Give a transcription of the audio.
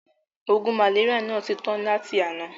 Oògùn màléríà náà ti tà tán láti àná.